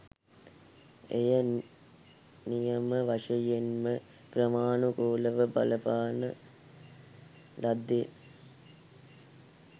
එය නියම වශයෙන්ම ක්‍රමානුකූලව බලපාන ලද්දේ